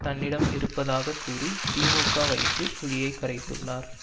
தன்னிடம் இருப்பதாகக்கூறி திமுக வயிற்றில் புலியை கரைத்துள்ளார்